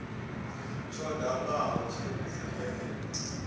tsho ṱambaho tshi ri sengenedza